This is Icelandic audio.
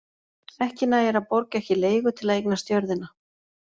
Ekki nægir að borga ekki leigu til að eignast jörðina.